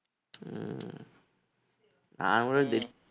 உம் நான் கூட dead